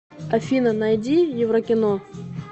афина найди еврокино